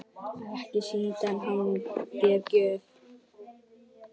Ekki sýndi hann þér gjöfina?